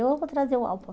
Eu vou trazer o álbum.